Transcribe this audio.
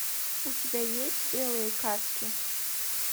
у тебя есть белые каски